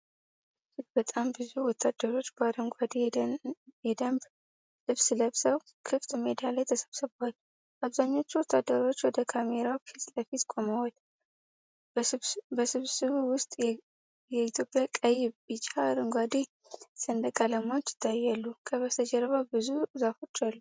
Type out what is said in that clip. እጅግ በጣም ብዙ ወታደሮች በአረንጓዴ የደንብ ልብስ ለብሰው ክፍት ሜዳ ላይ ተሰብስበዋል። አብዛኛዎቹ ወታደሮች ወደ ካሜራው ፊት ለፊት ቆመዋል። በስብስቡ ውስጥ የኢትዮጵያ ቀይ፣ ቢጫ፣ አረንጓዴ ሰንደቅ ዓላማዎች ይታያሉ። ከበስተጀርባ ብዙ ዛፎች አሉ።